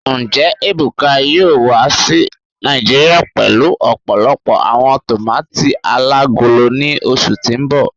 Njẹ Ebuka yoo wa si Naijiria pẹlu ọpọlọpọ awọn tomati alagolo ni oṣu ti n bọ?